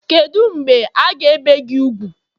kedu mgbe a ga ebee gi úgwù?